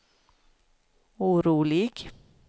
orolig